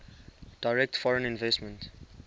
direct foreign investment